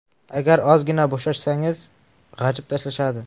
Agar ozgina bo‘shashsangiz g‘ajib tashlashadi.